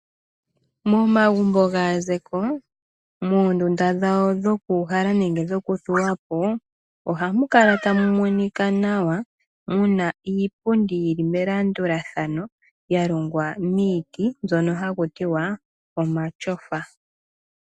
Momagumbo gaazeko, moondunda dhawo dhokuuhala nenge dhokuthuwa po, ohamu kala tamu monika nawa muna iipundi yili melandulathano yalongwa miiti mbyono hakutiwa omatyofa.